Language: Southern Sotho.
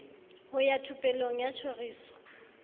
ho ya thupelong ya tjhoriso